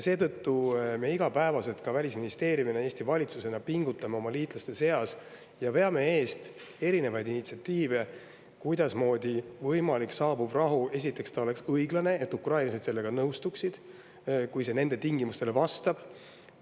Seetõttu iga päev ka Välisministeerium ja Eesti valitsus pingutavad oma liitlaste seas ja veavad eest erinevaid initsiatiive, kuidas oleks võimalik, et saabuv rahu, esiteks, oleks õiglane, nii et ukrainlased sellega nõustuksid, et see nende tingimustele vastaks.